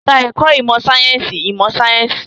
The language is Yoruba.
Ka ẹ̀kọ́ ìmọ̀ sáyẹ́sì ìmọ̀ sáyẹ́sì